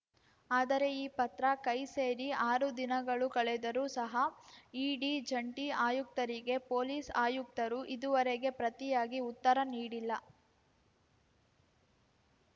ಆದರೆ ಈ ಪತ್ರ ಕೈ ಸೇರಿ ಆರು ದಿನಗಳು ಕಳೆದರೂ ಸಹ ಇಡಿ ಜಂಟಿ ಆಯುಕ್ತರಿಗೆ ಪೊಲೀಸ್‌ ಆಯುಕ್ತರು ಇದುವರೆಗೆ ಪ್ರತಿಯಾಗಿ ಉತ್ತರ ನೀಡಿಲ್ಲ